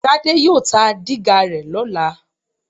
Tádé yóò ta dígà rẹ lọ́la